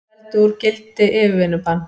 Felldu úr gildi yfirvinnubann